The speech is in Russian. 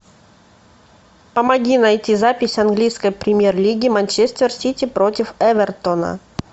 помоги найти запись английской премьер лиги манчестер сити против эвертона